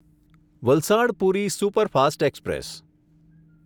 Valsad Puri superfast express